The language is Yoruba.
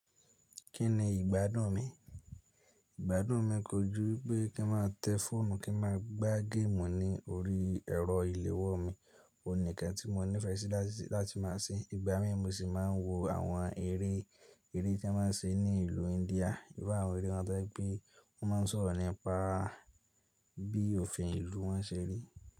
Kí ni ìgbádùn mi? Ìgbádùn mi kojú pé kí n má tẹ fóònù, kí n má gbá géèmù ní orí ẹ̀rọ ìléwọ́ mi. Òní kan tí mo nífẹsí láti máa ṣe. Ìgbà mí mu sì máa ń wo àwọn eré tí wọ́n má ń ṣe ní ìlú India. Íru àwọn eré wọ́n to je pé wọ́n máa ń sọ̀rọ̀ nípa bí òfin ìlú wọn ṣe rí.